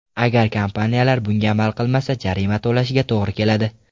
Agar kompaniyalar bunga amal qilmasa, jarima to‘lashiga to‘g‘ri keladi.